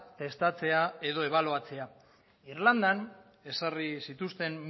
testatzea edo ebaluatzea irlandan ezarri zituzten